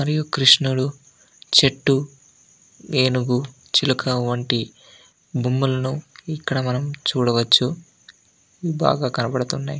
మరియు కృష్ణుడు చెట్టు ఏనుగు చిలక వంటి బొమ్మలను ఇక్కడ మనం చూడ వచ్చు బాగా కనపడ్తున్నాయ్.